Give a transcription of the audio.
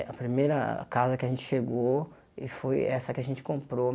A primeira casa que a gente chegou e foi essa que a gente comprou.